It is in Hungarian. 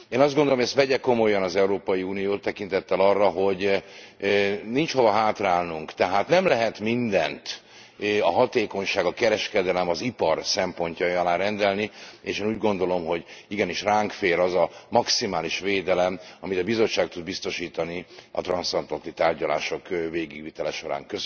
Én azt gondolom, hogy ezt vegye komolyan az Európai Unió, tekintettel arra, hogy nincs hova hátrálnunk, tehát nem lehet mindent a hatékonyság, a kereskedelem, az ipar szempontjai alá rendelni, és én úgy gondolom, hogy igenis ránk fér az a maximális védelem, amit a Bizottság tud biztosítani a transzatlanti tárgyalások végigvitele során.